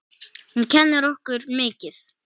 Hún kennir okkur mikið.